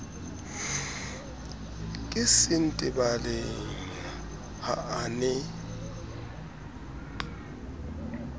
ke sentebaleng ha a ne